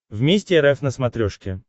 вместе рф на смотрешке